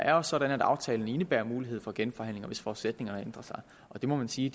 er også sådan at aftalen indebærer mulighed for genforhandlinger hvis forudsætningerne ændrer sig og det må man sige